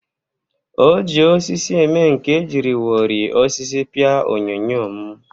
O ji osisi eme nka e jiriwori osisi pịa onyonyo m